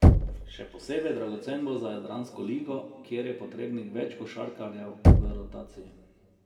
Še posebej dragocen bo za jadransko ligo, kjer je potrebnih več košarkarjev v rotaciji.